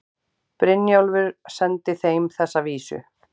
Brynjólfur sendi þeim þessa vísu